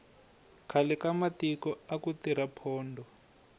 khale ka matiko aku tirha pondho